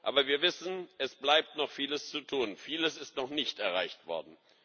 Aber wir wissen, es bleibt noch vieles zu tun, vieles ist noch nicht erreicht worden.